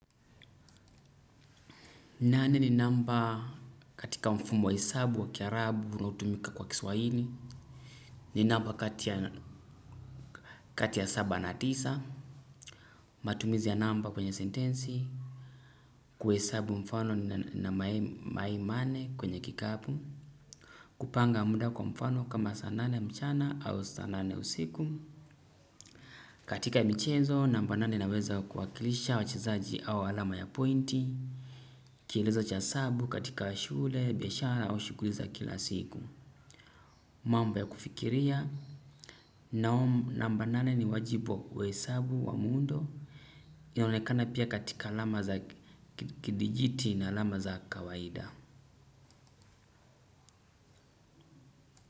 Nane ni namba katika mfumo wa hesabu wa kiarabu na utumika kwa kiswahini ni namba kati ya saba na tisa. Matumizi ya namba kwenye sentensi, kuhesabu mfano na mayai mane kwenye kikapu. Kupanga muda kwa mfano kama sanane mchana au sanane usiku, katika michezo, namba nane naweza kuwakilisha wachezaji au alama ya pointi. Kieleza cha sabu katika shule, biashara au shukuli za kila siku. Mamba ya kufikiria namba nane ni wajibu wa hesabu wa mundo. Yonekana pia katika alama za kidijiti na alama za kawaida.